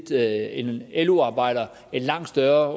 lo arbejder en langt større